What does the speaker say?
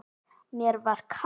Mér var kalt.